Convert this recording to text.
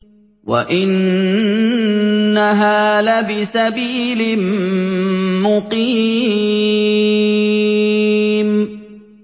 وَإِنَّهَا لَبِسَبِيلٍ مُّقِيمٍ